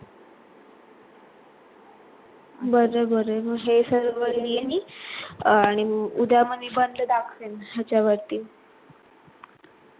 बरे बरे हे सर्व लिहिण मी आणि उदया म निबंध दाखविण याच्यावरती